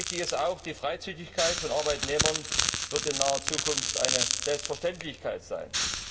Richtig ist auch, die Freizügigkeit von Arbeitnehmern wird in naher Zukunft eine Selbstverständlichkeit sein.